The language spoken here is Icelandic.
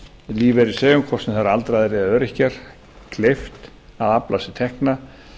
lífeyrisþegum hvort sem það eru aldraðir eða öryrkjar kleift að afla sér tekna